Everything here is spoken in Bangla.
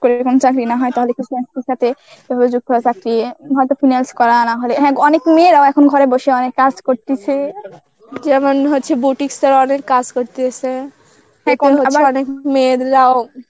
করে এরকম চাকরি না হয় তাহলে কিছু হয়ত finance করা না হলে, হ্যাঁ অনেক মেয়েরাও এখন ঘরে বসে অনেক কাজ করতেছে, যেমন হচ্ছে boutique এর অনেক কাজ করতেছে অনেক মেয়েরাও